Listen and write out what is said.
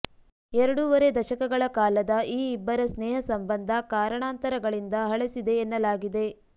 ಎರಡೂವರೆ ದಶಕಗಳ ಕಾಲದ ಈ ಇಬ್ಬರ ಸ್ನೇಹ ಸಂಬಂಧ ಕಾರಣಾಂತರಗಳಿಂದ ಹಳಸಿದೆ ಎನ್ನಲಾಗಿದೆ